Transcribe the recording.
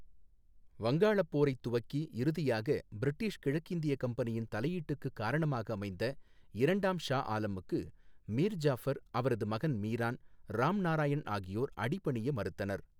வங்காளப் போரைத் துவக்கி இறுதியாக பிரிட்டிஷ் கிழக்கிந்திய கம்பெனியின் தலையீட்டுக்குக் காரணமாக அமைந்த இரண்டாம் ஷா ஆலமுக்கு மீர் ஜாஃபர், அவரது மகன் மீரான், ராம்நாராயண் ஆகியோர் அடிபணிய மறுத்தனர்.